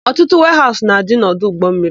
Ọtụtụ weehaụsụ na-adị n'ọdụ ụgbọmmiri.